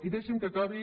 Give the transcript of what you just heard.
i deixi’m que acabi